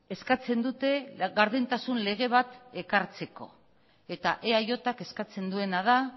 eskatzen dute gardentasun lege bat ekartzeko eta eajk eskatzen duena da